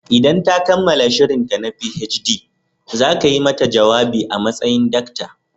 Idan ta kammala shirinta na PhD, za ka yi mata jawabi a matsayin Dr.